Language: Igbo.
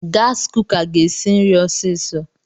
Gaasi kuka ga-esi nri ọsiisọ.